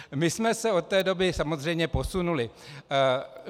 My jsme se od té doby samozřejmě posunuli.